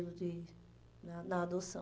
na na adoção.